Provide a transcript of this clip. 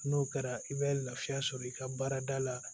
N'o kɛra i bɛ lafiya sɔrɔ i ka baarada la